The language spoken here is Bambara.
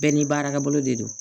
Bɛɛ ni baarakɛ bolo de don